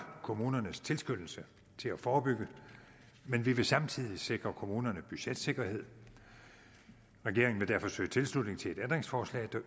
kommunernes tilskyndelse til at forebygge men vi vil samtidig sikre kommunerne budgetsikkerhed regeringen vil derfor søge tilslutning til et ændringsforslag